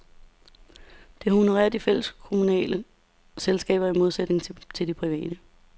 Det honorerer de fælleskommunale selskaber i modsætning til de private.